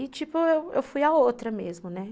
E tipo, eu eu fui a outra mesmo, né.